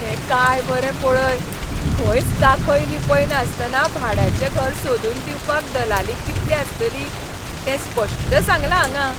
हें काय बरें पळय. खंयच दाखय लिपय नासतना भाड्याचें घर सोदून दिवपाक दलाली कितली आसतली तें स्पश्ट सांगलां हांगां.